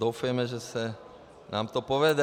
Doufejme, že se nám to povede.